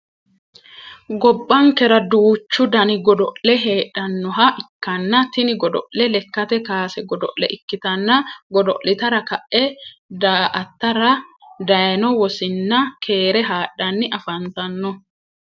Gobbankera duuchu Danni godo'le heedhanoha ikanna tinni godo lekate kaase godo'le ikitanna godo'litara ka'e daa'atara dayino wosinna keere hadhanni afantano.